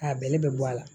A bɛlɛ bɛ bɔ a la